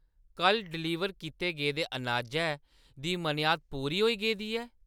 कल्ल डलीवर कीती गेदे अनाजै दी मनेआद पूरी होई गेदी ऐ?